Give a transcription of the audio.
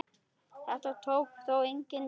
Þetta tók þó enga dýfu.